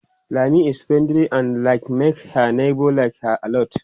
Lami is friendly and that makes her neighbors like her alot.